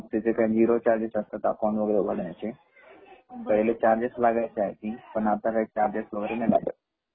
तर मग तिथे काय झीरो चार्गेस असतात. अकाऊंट उघडण्याचे पहिले चार्गेस लागायचे आय थिंग पण आता काही चार्गेस वैगेरे नाही लागत.